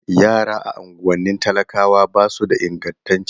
Yara a unguwannin talakawa ba su da ingantaccen ilimi